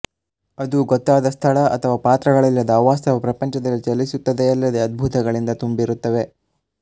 ಅದು ಗೊತ್ತಾದ ಸ್ಥಳ ಅಥವಾ ಪಾತ್ರಗಳಿಲ್ಲದ ಅವಾಸ್ತವ ಪ್ರಪಂಚದಲ್ಲಿ ಚಲಿಸುತ್ತದೆಯಲ್ಲದೆ ಅದ್ಭುತಗಳಿಂದ ತುಂಬಿರುತ್ತದೆ